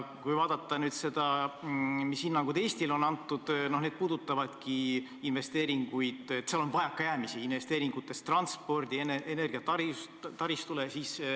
Kui vaadata, mis hinnangud Eestile on antud – need puudutavad investeeringuid –, siis näeme, et vajakajäämisi on investeeringutes transpordi- ja energiataristu arendamiseks.